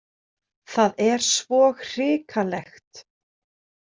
Það er svo hrikalegt